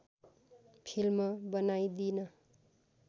film बनाइदिन